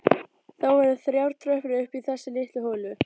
Það voru þrjár tröppur upp í þessa litlu holu.